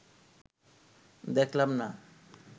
দেখলাম, না